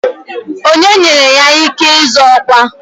Onye nyere ya ike ịzọ ọkwa?